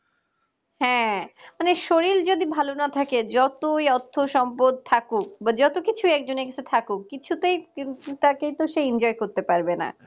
হ্যাঁ মানে শরীর যদি ভালো না থাকে যতই অর্থ সম্পদ থাকুক বা যত কিছুই একজনের কাছে থাকো কিছুতেই কিন্তু তাকে তো সেই enjoy করতে পারবে না